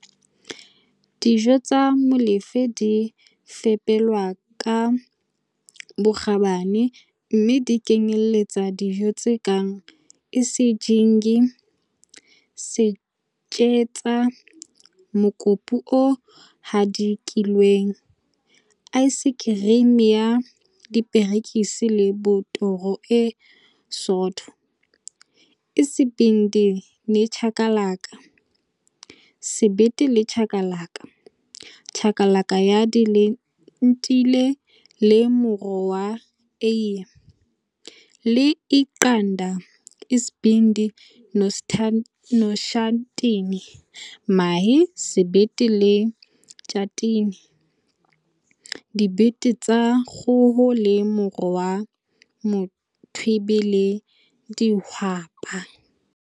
Dijo tsa Molefe di fepelwa ka bokgabane, mme di kenyeletsa dijo tse kang Isijingi - setjetsa, mokopu o hadikilweng, aesekerimi ya diperekisi le botoro e sootho, Isibindi nechakalaka - sebete le chakalaka, chakalaka ya dilentile le moro wa eie, le Iqanda, Isibindi noshatini - mahe, sebete le tjhatini, dibete tsa kgoho le moro wa mothwebe le dihwapa.